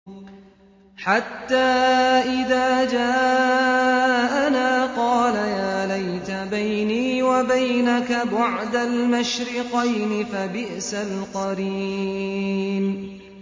حَتَّىٰ إِذَا جَاءَنَا قَالَ يَا لَيْتَ بَيْنِي وَبَيْنَكَ بُعْدَ الْمَشْرِقَيْنِ فَبِئْسَ الْقَرِينُ